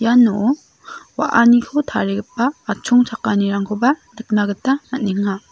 iano wa·aniko tarigipa atchongchakanirangkoba nikna gita man·enga.